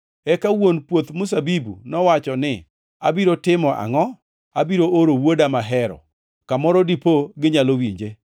“Eka wuon puoth mzabibu nowacho ni, ‘Abiro timo angʼo? Abiro oro wuoda mahero, kamoro dipo ginyalo winje!’